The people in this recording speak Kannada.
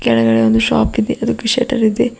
ಕೆಳಗಡೆ ಒಂದು ಶಾಪ್ ಇದೆ ಅದಕ್ಕೆ ಶಟರ್ ಇದೆ.